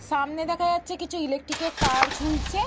সামনে দেখা যাচ্ছে কিছু ইলেকট্রিক এ র তার ঝুলছে।